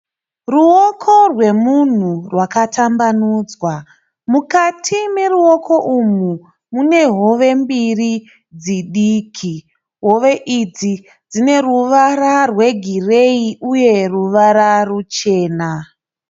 Ruoko rwemunhu rwakatambanudzwa. Mukati meruoko umu mune hove mbiri diki. Hove idzi dzine ruvara rwegireyi uye ruvara ruchena.